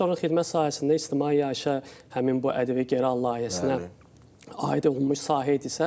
Daha sonra xidmət sahəsində ictimai yaşayışa həmin bu ƏDV geri al layihəsinə aid olunmuş sahə idisə.